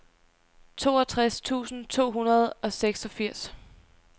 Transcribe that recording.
toogtres tusind to hundrede og seksogfirs